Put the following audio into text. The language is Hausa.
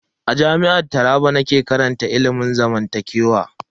A Jami'ar jihar Taraba nake karantar ilimin zamantakewa.